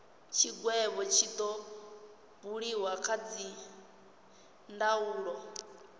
tshigwevho tshi do buliwa kha dzindaulo